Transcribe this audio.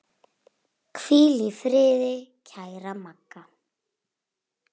Hvíl í friði kæra Magga.